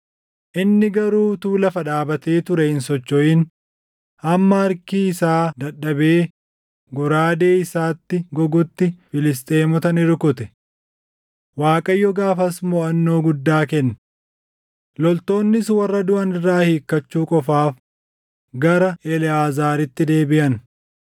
inni garuu utuu lafa dhaabatee turee hin sochoʼin hamma harki isaa dadhabee goraadee isaatti gogutti Filisxeemota ni rukute. Waaqayyo gaafas moʼannoo guddaa kenne. Loltoonnis warra duʼan irraa hiikachuu qofaaf gara Eleʼaazaaritti deebiʼan.